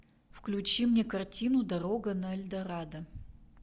включи мне картину дорога на эльдорадо